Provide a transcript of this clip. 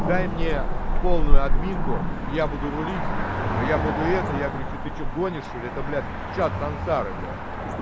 дай мне полную админку я буду рулить но я буду это я говорю что ты что гонишь что ли это блядь чат сансары блядь